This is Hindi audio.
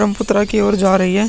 ब्रह्मपुत्र की ओर जा रही है।